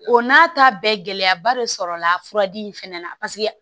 O n'a ta bɛɛ gɛlɛyaba de sɔrɔla fura di in fɛnɛ na paseke